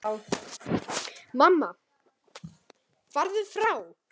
Mamma: Farðu frá!